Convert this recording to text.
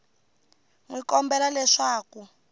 n wi kombela leswaku a